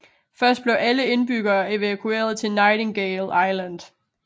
Først blev alle indbyggere evakueret til Nightingale Island